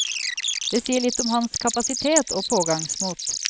Det sier litt om hans kapasitet og pågangsmot.